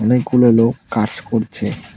অনেক গুলা লোক কাজ করছে।